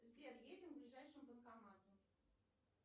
сбер едем к ближайшему банкомату